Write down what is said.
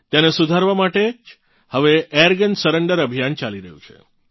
તેને સુધારવાં માટે જ હવે એરગન સરેંડર અભિયાન ચાલી રહ્યું છે